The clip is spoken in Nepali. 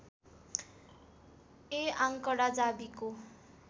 ये आङ्कडा जावीको